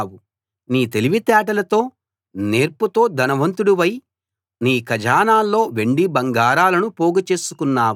నీ తెలివి తేటలతో నేర్పుతో ధనవంతుడివై నీ ఖజానాల్లో వెండి బంగారాలను పోగుచేసుకున్నావు